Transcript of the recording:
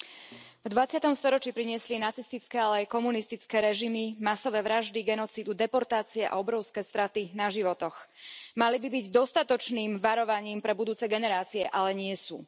Vážená pani predsedajúca, v dvadsiatom storočí priniesli nacistické, ale aj komunistické režimy masové vraždy, genocídu, deportácie a obrovské straty na životoch. Mali by byť dostatočným varovaním pre budúce generácie, ale nie sú.